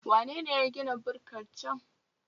Wanene ya gina bukkar can?